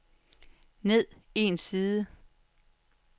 ned en side